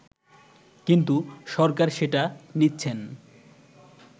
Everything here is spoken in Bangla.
কিন্তু সরকার সেটা নিচ্ছেন